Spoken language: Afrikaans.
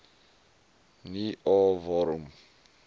nie a waarom